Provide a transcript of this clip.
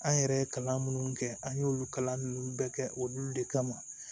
An yɛrɛ ye kalan minnu kɛ an y'olu kalan nunnu bɛɛ kɛ olu de kama